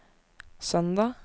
søndag